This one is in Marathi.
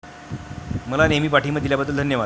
मला नेहमी पाठिंबा दिल्याबद्दल धन्यवाद.